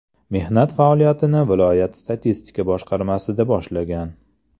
Mehnat faoliyatini viloyat statistika boshqarmasida boshlagan.